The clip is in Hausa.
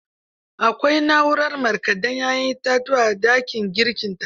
Akwai na'urar marƙade 'ya'yan itatuwa a dakin girkinta.